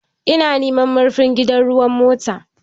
Ina neman marfin gidan ruwan mota